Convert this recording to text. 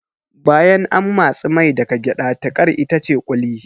Bayan an matsi mai daga gyada tiƙar itace ƙuli